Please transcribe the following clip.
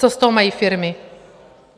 Co z toho mají firmy?